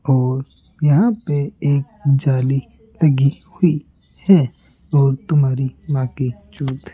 और यहां पे एक जाली लगी हुई है और तुम्हारी ।